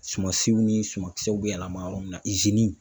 Sumansiw ni sumakisɛw be yɛlɛma yɔrɔ min na